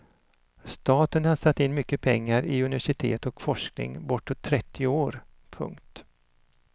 Staten har satt in mycket pengar i universitet och forskning i bortåt trettio år. punkt